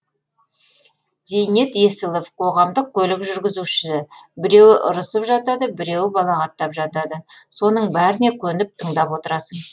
зейнет есілов қоғамдық көлік жүргізушісі біреуі ұрысып жатады біреуі балағаттап жатады соның бәріне көніп тыңдап отырасың